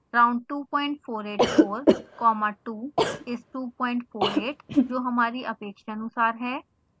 round 2484 comma 2 is 248